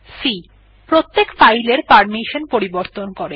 c প্রত্যেক file এর permission পরিবর্তন করে